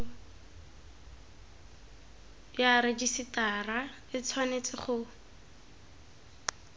ya rejisetara e tshwanetse go